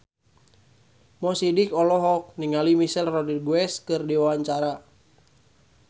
Mo Sidik olohok ningali Michelle Rodriguez keur diwawancara